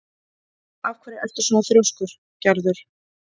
Af hverju ertu svona þrjóskur, Gerður?